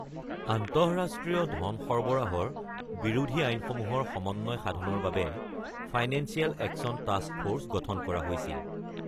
আন্তঃৰাষ্ট্ৰীয় ধন সৰবৰাহৰ বিৰোধী আইনসমূহৰ সমন্বয় সাধনৰ বাবে ফাইনেন্সিয়েল একচন টাস্ক ফ’ৰ্চ গঠন কৰা হৈছিল।